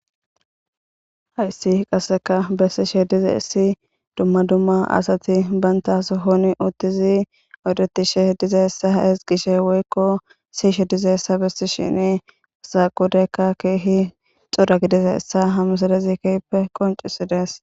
hayssi qasseka bessishe dize essi dumma dumma asati banta aso honi uttizi odetishe diza essa esgishe woykko siishe dize essa bessi shini asaqodekka keehi xoda gidiza essa hamusadezi kehppe qoncisidesp poll ppl